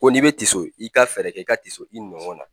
Ko n'i be tiso i ka fɛɛrɛ kɛ, i ka tiso i nɔgɔn na